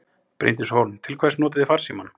Bryndís Hólm: Til hvers notið þið farsímann?